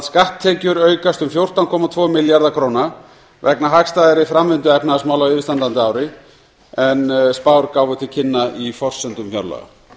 skatttekjur aukast um fjórtán komma tvo milljarða króna vegna hagstæðari framvindu efnahagsmála á yfirstandandi ári en spár gáfu til kynna í forsendum fjárlaga